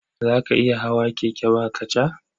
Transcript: Za ka iya hawa keke ba kaca?